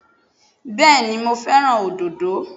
Bẹ́ẹ̀ni mo fẹ́ràn àwọn òdòdó